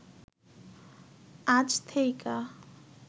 আজ থেইকা